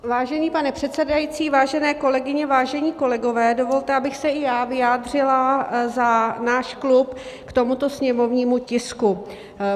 Vážený pane předsedající, vážené kolegyně, vážení kolegové, dovolte, abych se i já vyjádřila za náš klub k tomuto sněmovnímu tisku.